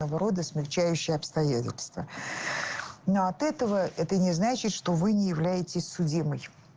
вроде смягчающие обстоятельства но от этого это не значит что вы не являетесь судимой